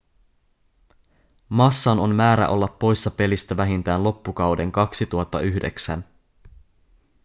massan on määrä olla poissa pelistä vähintään loppukauden 2009